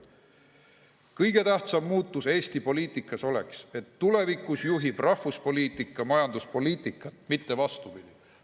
Kõige tähtsam muutus Eesti poliitikas oleks, et tulevikus juhib rahvuspoliitika majanduspoliitikat, mitte vastupidi.